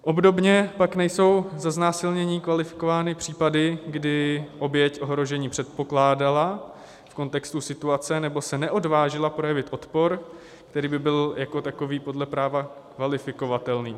Obdobně pak nejsou za znásilnění kvalifikovány případy, kdy oběť ohrožení předpokládala v kontextu situace nebo se neodvážila projevit odpor, který by byl jako takový podle práva kvalifikovatelný.